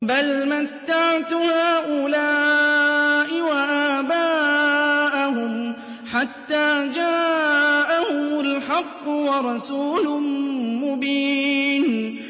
بَلْ مَتَّعْتُ هَٰؤُلَاءِ وَآبَاءَهُمْ حَتَّىٰ جَاءَهُمُ الْحَقُّ وَرَسُولٌ مُّبِينٌ